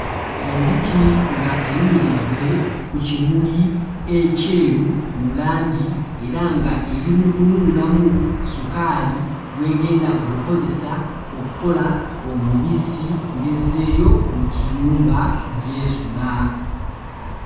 Enjuki nga eyimiridde ku kimuli ekyeru mu langi era nga eri mu kunuunamu sukaali gw'egenda okukozesa okkola omubisi ng'ezzeeyo mu kiyumba gy'esula.